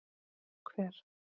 Hver?